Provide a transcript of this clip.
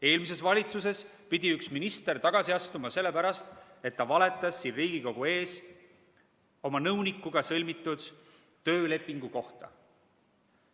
Eelmises valitsuses pidi üks minister tagasi astuma sellepärast, et ta valetas siin Riigikogu ees oma nõunikuga sõlmitud töölepingu kohta.